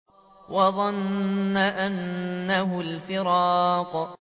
وَظَنَّ أَنَّهُ الْفِرَاقُ